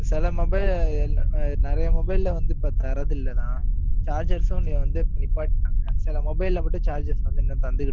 சில mobile நிறைய mobile ல வந்து, இப்ப தர்றது இல்லண்ணா. chargers ஆ என்னைய வந்து, சில mobile ல மட்டும், charges வந்து, இன்னும் தந்துகிட்டு இருக்காங்க.